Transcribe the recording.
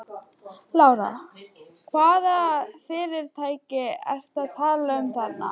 Lára: Hvaða fyrirtæki ertu að tala um þarna?